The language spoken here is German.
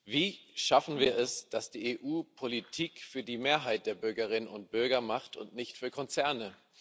Wie schaffen wir es, dass die EU Politik für die Mehrheit der Bürgerinnen und Bürger macht und nicht für Konzerne?